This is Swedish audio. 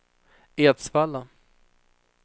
Edsvalla